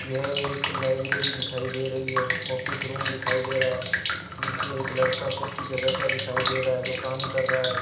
यह एक लाइब्रेरी दिखाई दे रही है ऑफिस रूम दिखाई दे रहा है जिसमें एक लड़का कुर्सी में बैठा दिखाई दे रहा है जो काम कर रहा है।